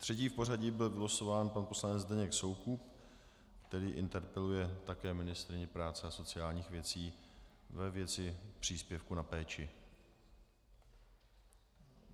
Třetí v pořadí byl vylosován pan poslanec Zdeněk Soukup, který interpeluje také ministryni práce a sociálních věcí - ve věci příspěvku na péči.